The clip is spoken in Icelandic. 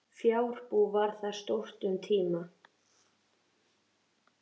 Fjárbú var þar stórt um tíma.